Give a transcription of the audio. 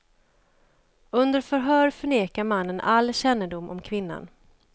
Under förhör förnekar mannen all kännedom om kvinnan.